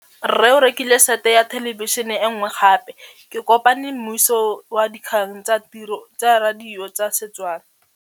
Rre o rekile sete ya thêlêbišênê e nngwe gape. Ke kopane mmuisi w dikgang tsa radio tsa Setswana.